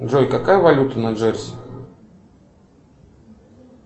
джой какая валюта на джерси